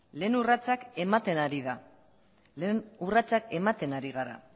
lehen urratsak ematen ari da lehen urratsak ematen ari gara